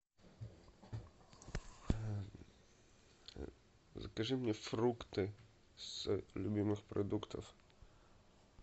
закажи мне фрукты с любимых продуктов